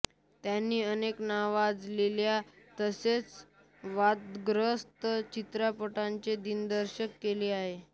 त्यांनी अनेक नावाजलेल्या तसेच वादग्रस्त चित्रपटांचे दिग्दर्शन केले आहे